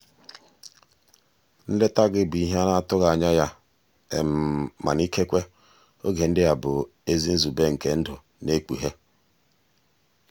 nleta gị bụ ihe a na-atụghị anya ya mana ikekwe oge ndị a bụ ezi nzube nke ndụ na-ekpughe.